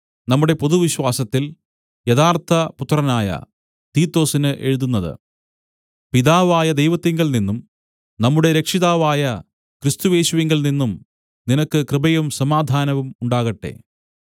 നമ്മുടെ പൊതുവിശ്വാസത്തിൽ യഥാർത്ഥപുത്രനായ തീത്തൊസിന് എഴുതുന്നത് പിതാവായ ദൈവത്തിങ്കൽനിന്നും നമ്മുടെ രക്ഷിതാവായ ക്രിസ്തുയേശുവിങ്കൽനിന്നും നിനക്ക് കൃപയും സമാധാനവും ഉണ്ടാകട്ടെ